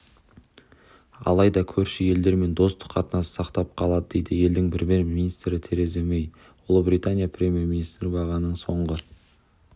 алайда көрші елдермен достық қатынасты сақтап қалады дейді елдің премьер-министрі тереза мэй ұлыбритания премьер-министрі бағаның соңғы